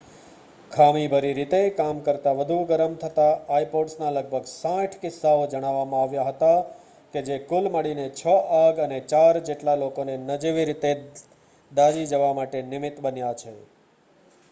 ખામીભરી રીતે કામ કરતા વધુ ગરમ થતા આઈપોડસનાં લગભગ 60 કિસ્સાઓ જણાવવામાં આવ્યા હતા કે જે કુલ મળીને છ આગ અને ચાર જેટલા લોકોને નજીવી રીતે દાઝી જવા માટે નિમિત બન્યા છે